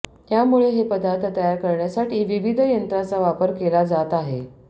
त्यामुळे हे पदार्थ तयार करण्यासाठी विविध यंत्रांचा वापर केला जात आहे